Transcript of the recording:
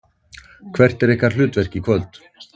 Hvert er ykkar hlutverk í kvöld?